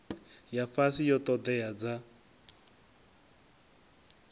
ya fhasi ya ṱhoḓea dza